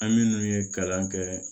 An minnu ye kalan kɛ